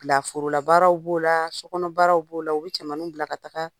Bilaforolabaaraw b'o la sokɔnɔbaaraw b'o la u bɛ cɛmaninw bila ka taga